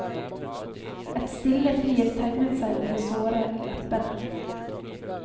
Et stille flir tegnet seg om de såre leppene.